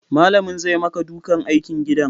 Malamin zai maka duka aikin gidan